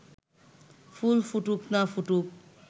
ফুল ফুটুক না ফুটুক